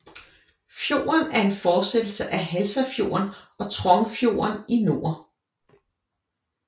Fjorden er en fortsættelse af Halsafjorden og Trongfjorden i nord